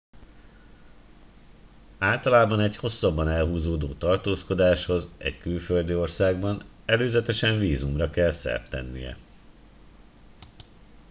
általában egy hosszabban elhúzódó tartózkodáshoz egy külföldi országban előzetesen vízumra kell szert tennie